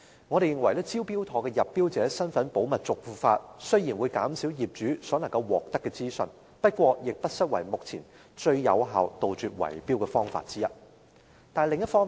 我們認為"招標妥"將入標者身份保密的做法，雖然會減少業主可獲得的資訊，但也不失為當下杜絕圍標最有效的方法之一。